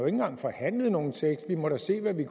engang forhandlet nogen tekst vi må da se hvad vi